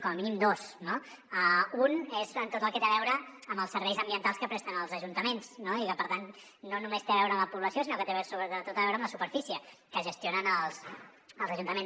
com a mínim dos no un és tot el que té a veure amb els serveis ambientals que presten els ajuntaments no i que per tant no només té a veure amb la població sinó que té sobretot a veure amb la superfície que gestionen els ajuntaments